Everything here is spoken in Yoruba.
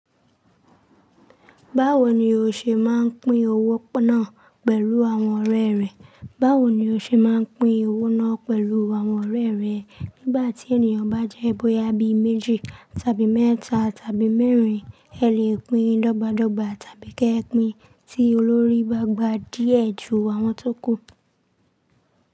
Báwo ni o ṣe máa ń pín owó náà pẹ̀lú àwọn ọ̀rẹ́ rẹ? Báwo ni o ṣe máa ń pín owó náà pẹ̀lú àwọn ọ̀rẹ́ rẹ? Nígbà tí ènìyàn bá jẹ́ bóyá bíméjì tàbí mẹ́ta tàbí mẹ́rin, ẹ lè pín dọ́gba dọ́gba tàbí kẹ pín tí olórí bá gba díẹ̀ ju àwọn tó kù.